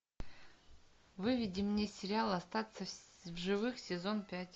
выведи мне сериал остаться в живых сезон пять